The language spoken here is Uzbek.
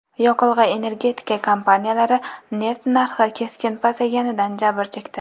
Yoqilg‘i-energetika kompaniyalari neft narxi keskin pasayganidan jabr chekdi.